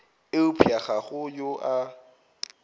eupša ga go yo a